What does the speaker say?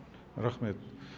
рахмет